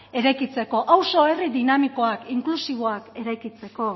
eraikitzeko auzo herri dinamikoak inklusiboak eraikitzeko